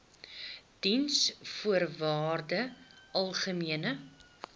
diensvoorwaardesalgemene